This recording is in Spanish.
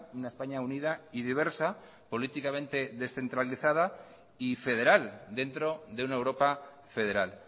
una españa unida y diversa políticamente descentralizada y federal dentro de una europa federal